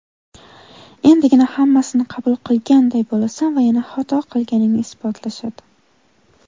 Endigina hammasini qabul qilganday bo‘lasan va yana xato qilganingni isbotlashadi.